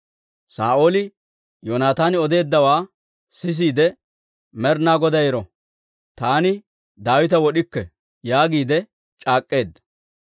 Saa'ooli Yoonataani odeeddawaa sisiide, «Med'inaa Goday ero, taani Daawita wod'ikke» yaagiide c'aak'k'eedda.